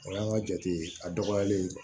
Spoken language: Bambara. O y'an ka jate a dɔgɔyalen ye